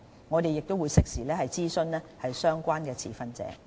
我們會適時諮詢相關持份者。